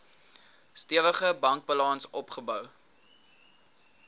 stewige bankbalans opgebou